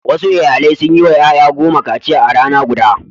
Wasu iyalai sun yi wa ƴaƴa goma kaciya a rana guda.